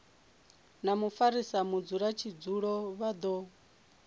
na mufarisa mudzulatshidulo vha do